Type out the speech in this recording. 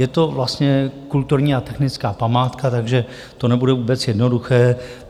Je to vlastně kulturní a technická památka, takže to nebude vůbec jednoduché.